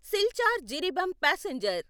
Silchar Jiribam passenger